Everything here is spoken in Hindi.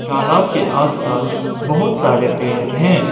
तालाब के आस-पास बहुत सारे पेर हैं।